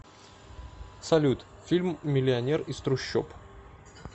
салют фильм миллионер из трущоб